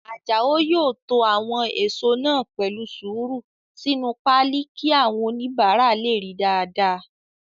Àjàó yóò to àwọn èèso náà pẹ̀lú sùúrù sínu páálí kí àwọn oníbàárà lè ríi dáadáa